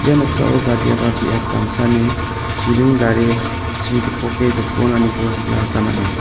ia noksao badiaba biap damsani chiring dare chi gipoke jokonaniko nikna gita man·a.